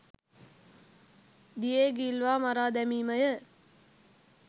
දියේ ගිල්වා මරා දැමීමය.